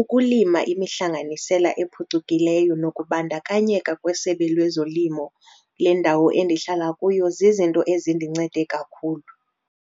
ukulima imihlanganisela ephucukileyo nokubandakanyeka kweSebe lwezoLimo lendawo endihlala kuyo zizinto ezindincede kakhulu.